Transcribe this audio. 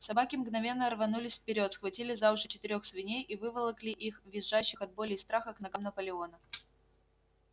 собаки мгновенно рванулись вперёд схватили за уши четырёх свиней и выволокли их визжащих от боли и страха к ногам наполеона